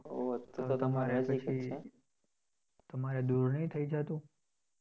તમારે દુર નહિ થઇ જાતું?